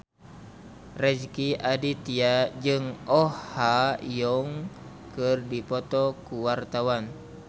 Rezky Aditya jeung Oh Ha Young keur dipoto ku wartawan